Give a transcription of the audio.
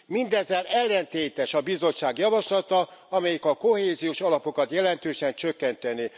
Mindezzel ellentétes a Bizottság javaslata, amelyik a kohéziós alapokat jelentősen csökkentené.